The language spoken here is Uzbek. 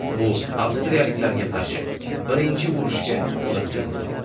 Bu avstriyaliklarga qarshi birinchi urushga olib keldi.